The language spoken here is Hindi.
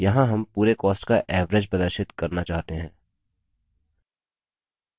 यहाँ हम पूरे cost का average प्रदर्शित करना चाहते हैं